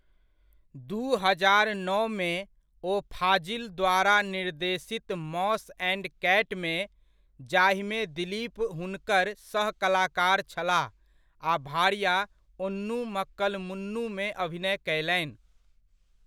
दू हजार नओमे, ओ फ़ाज़िल द्वारा निर्देशित मॉस एण्ड कैटमे, जाहिमे दिलीप हुनकर सह कलाकार छलाह, आ भार्या ओन्नु मक्कल मुन्नुमे अभिनय कयलनि।